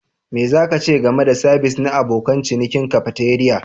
Me za ka ce game da sabis na abokan cinikin cafeteria?